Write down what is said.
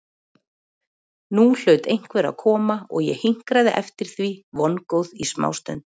Nú hlaut einhver að koma og ég hinkraði eftir því vongóð í smástund.